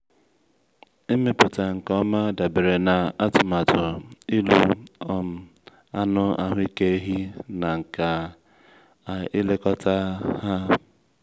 ịmụpụta nke ọma dabere na atụmatụ ịlụ um anụ ahụike ehi na nka ilekọta ha.